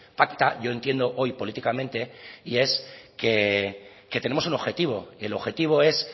pacta yo entiendo hoy políticamente y es que tenemos un objetivo el objetivo es